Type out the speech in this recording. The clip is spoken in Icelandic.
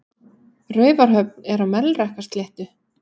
Raufarhöfn er á Melrakkasléttu.